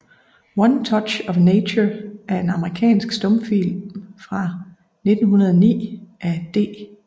One Touch of Nature er en amerikansk stumfilm fra 1909 af D